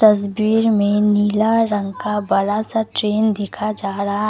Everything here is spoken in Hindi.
इस भीड़ में नीला रंग का बड़ा सा ट्रेन दिखा जा रहा है।